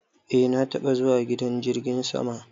Eh na taba zuwa gidan jirgin sama.